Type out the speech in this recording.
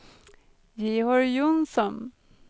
Georg Johnsson